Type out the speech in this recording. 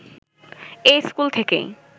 এই স্কুল থেকেই